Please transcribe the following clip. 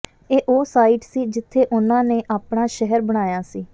ਇਹ ਉਹ ਸਾਈਟ ਸੀ ਜਿੱਥੇ ਉਨ੍ਹਾਂ ਨੇ ਆਪਣਾ ਸ਼ਹਿਰ ਬਣਾਇਆ ਸੀ